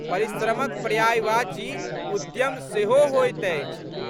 परिश्रमक पर्यायवाची उद्यम सेहो होइत अछि।